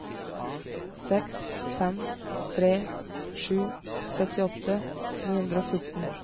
seks fem tre sju syttiåtte ni hundre og fjorten